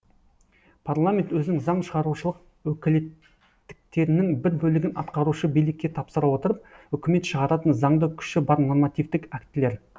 парламент өзінің заң шығарушылық өкілеттіктерінің бір бөлігін атқарушы билікке тапсыра отырып үкімет шығаратын заңды күші бар нормативтік актілер